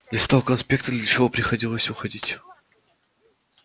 листал конспекты для чего приходилось уходить